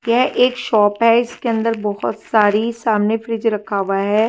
यह एक शॉप है इसके अंदर बहुत सारी सामने फ्रिज रखा हुआ है।